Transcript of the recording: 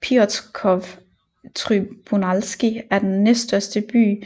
Piotrków Trybunalski er den næststørste by